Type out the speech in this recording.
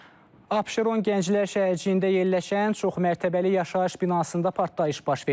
Abşeron Gənclər şəhərciyində yerləşən çoxmətəbəli yaşayış binasında partlayış baş verib.